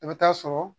I bɛ taa sɔrɔ